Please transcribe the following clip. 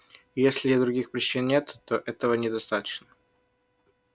если других причин нет то этого недостаточно